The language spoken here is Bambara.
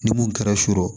Ni mun kɛra so